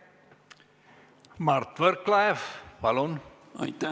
Mart Võrklaev, palun!